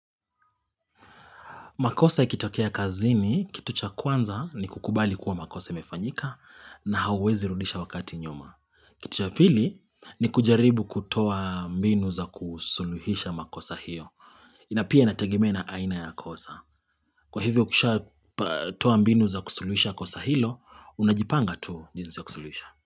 Makosa ikitokea kazini, kitu cha kwanza ni kukubali kuwa makosa mefanyika na hawezi rudisha wakati nyuma. Kitu cha pili ni kujaribu kutoa mbinu za kusuluhisha makosa hiyo. Ina pia natagimena aina ya kosa. Kwa hivyo kusha toa mbinu za kusuluhisha kosa hilo, unajipanga tu jinsi ya kusuluhisha.